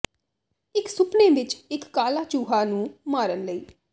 ਇਕ ਸੁਪਨੇ ਵਿਚ ਇਕ ਕਾਲਾ ਚੂਹਾ ਨੂੰ ਮਾਰਨ ਲਈ